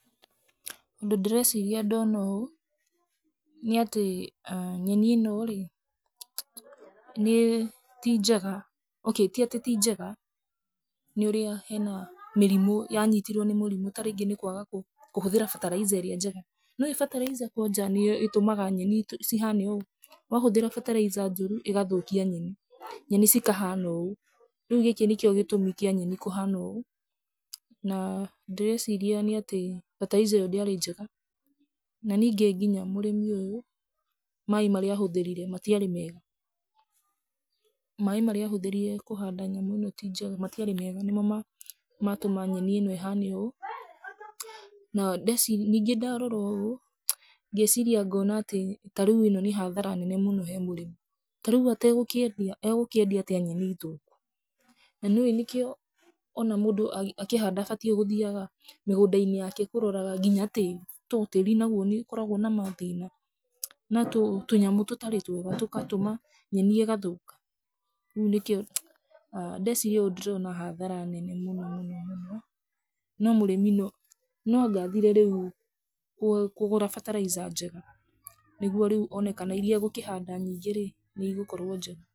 Ũndũ ndĩreciria ndona ũũ, nĩ atĩ nyeni ĩno rĩ, nĩ ti njega. Okay, ti atĩ ti njega, nĩ ũrĩa hena mĩrimũ. Ya nyitirwio nĩ mũrimũ ta rĩngĩ nĩ kũaga kũhũthĩra fertilizer ĩrĩa njega. Nĩ ũĩ fertilizer kwanja nĩ yo ĩtũmaga nyeni cihane ũũ? Wahũthĩra fertilizer njũru ĩgathũkia nyeni, nyeni cikahana ũũ. Rĩu gĩkĩ nĩkĩo gĩtũmi kĩa nyeni kũhana ũũ. Na ndĩreciria nĩ atĩ fertilizer ĩyo ndĩarĩ njega. Na ningĩ nginya mũrĩmi ũyũ maaĩ marĩa ahũthĩrire matiarĩ mega. Maaĩ marĩa ahũthĩrire kũhanda nyamũ ĩno ti njega, matiarĩ mega, nĩ mo maatũma nyeni ĩno ĩhane ũũ. Na ndeeciria ningĩ ndarora ũũ, ngeeciria ngoona atĩ ta rĩu ĩno nĩ hathara nene mũno he mũrĩmi. Ta rĩu Ategũkĩendia, egũkĩendia atĩa nyeni thũkũ? Na nĩ ũĩ nĩkĩo o na mũndũ akĩhanda abatiĩ gũthiaga mĩgũnda-inĩ yake kũroraga nginya tĩĩri, to tĩĩri naguo nĩ ũkoragwo na mathĩna, na tũnyamũ tũtarĩ twega tũkatũma nyeni ĩgathũka? Rĩu nĩkĩo ndeeciria ũũ ndĩrona hathara nene mũno mũno mũno. No mũrĩmi no anga athire rĩu kũgũra fertilizer njega niguo rĩu one kana iria egũkĩhanda nyingĩ rĩ, nĩ igũkorwo njega.